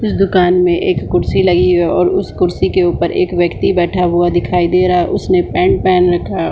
इस दुकान मे एक कुर्सी लगी हुई है और उस कुर्सी के ऊपर एक व्यक्ति बैठा हुआ दिखाई दे रहा है उसने पेंट पहन रखा है।